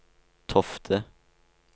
Tofte